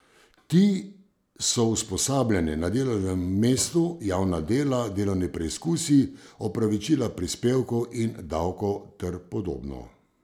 Ti so usposabljanje na delovnem mestu, javna dela, delovni preizkusi, opravičila prispevkov in davkov ter podobno.